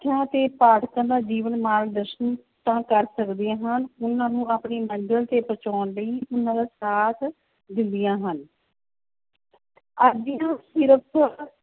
ਤੇ ਪਾਠਕਾਂ ਦਾ ਜੀਵਨ ਮਾਰਗਦਰਸ਼ਨ ਤਾਂ ਕਰ ਸਕਦੇ ਹਨ, ਉਹਨਾਂ ਨੂੰ ਆਪਣੀ ਮੰਜ਼ਿਲ ਤੇ ਪਹੁੰਚਾਉਣ ਲਈ ਉਹਨਾਂ ਦਾ ਸਾਥ ਦਿੰਦੀਆਂ ਹਨ